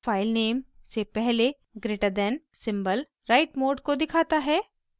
filename से पहले greater than > symbol write mode को दिखाता है